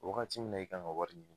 Wagati min na, e kan ka wari ɲini